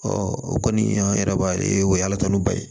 o kɔni an yɛrɛ b'a ye o ye ala tanu ba ye